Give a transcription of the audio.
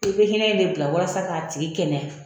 I bɛ hinɛ in de bila walasa k'a tigi kɛnɛya.